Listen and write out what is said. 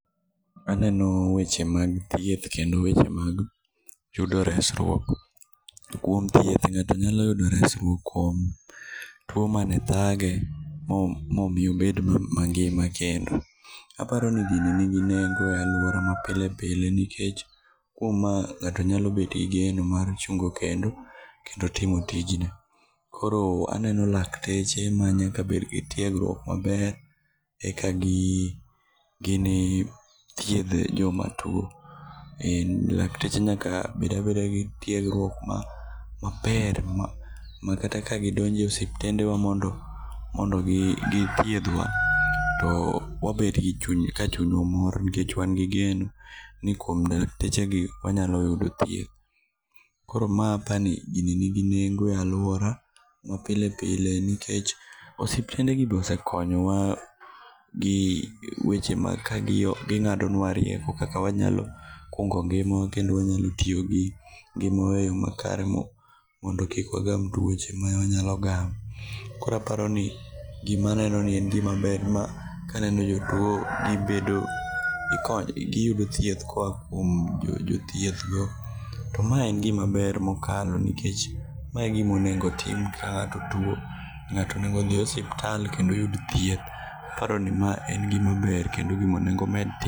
Aneno weche mag thieth kendo weche mag yudo resruok. Kuom thieth ng'ato nyalo yudo resruok kuom tuo mane thage mo momiyo obed mangima kendo. Aparoni gini nigi nengo e aluora mapile pile nikech ma ng'ato nyalo bede gi geno mar chungo kendo, kendo timo tijn. Koro aneno lakteche manyaka bed gi tiegruok maber eka gi gini thiedh joma tuo. Lak teche nyaka bed abeda gi tiegruok ma maber makata ka gidonjo e osiptende wa mondo mondogithiedhwa to wabedo gi chuny mamor nikech wan gi geno nikuom laktechegi wanyalo yudo thieth. Koro ma aparo ni gini nigi nengo e aluora mapile pile nikech osiptende gi be osekonyowa kaka ging'ado nua rieko kaka wanyalo kungo ngimawa kendo wanyalo tiyo gi eyo makare mondo kik wagam tuoche ma wanyalo gamo. Koro aparo ni gima anenoni en gima ber nimar ka aneno jotuo gibedo giyudo thieth koa kuom jothiethgo. To mae en gima ber mokalo nikech mae e gima onego otim ka ng'ato tuo ng'ato onego dhin osiptal kendo oyud thieth. Aparo ni mae en gima ber kendo gima onego med tim.